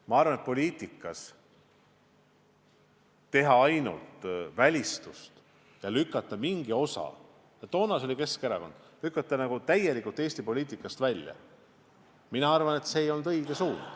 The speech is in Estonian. Ma arvan, et kui poliitikas teha ainult välistust ja lükata mingi osa inimesi täielikult Eesti poliitikast välja – varem oli see Keskerakond – siis see ei ole õige suund.